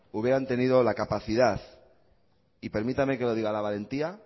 hubieran tenido la capacidad y permítame que lo diga la valentía